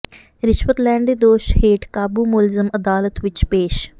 ਰਿਸ਼ਵਤ ਲੈਣ ਦੇ ਦੋਸ਼ ਹੇਠ ਕਾਬੂ ਮੁਲਜ਼ਮ ਅਦਾਲਤ ਵਿੱਚ ਪੇਸ਼